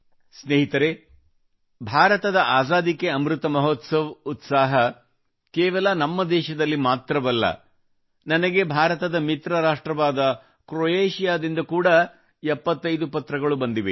ಸ್ನೇಹಿತರೇ ಭಾರತದ ಆಜಾದಿ ಕೇ ಅಮೃತ ಮಹೋತ್ಸವದ ಉತ್ಸಾಹ ಕೇವಲ ನಮ್ಮ ದೇಶದಲ್ಲಿ ಮಾತ್ರವಲ್ಲ ನನಗೆ ಭಾರತದ ಮಿತ್ರ ರಾಷ್ಟ್ರವಾದ ಕ್ರೊಯೇಷಿಯಾದಿಂದ ಕೂಡಾ 75 ಪತ್ರಗಳು ಬಂದಿವೆ